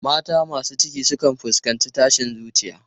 Mata masu ciki sukan fuskanci tashin zuciya.